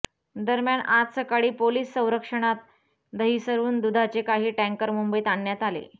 दरम्यान आज सकाळी पोलिस संरक्षणात दहिसरहून दूधाचे काही टँकर मुंबईत आणण्यात आले